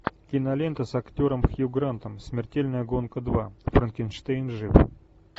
кинолента с актером хью грантом смертельная гонка два франкенштейн жив